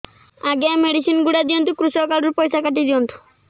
ଆଜ୍ଞା ଏ ମେଡିସିନ ଗୁଡା ଦିଅନ୍ତୁ କୃଷକ କାର୍ଡ ରୁ ପଇସା କାଟିଦିଅନ୍ତୁ